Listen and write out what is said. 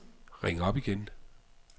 ring op igen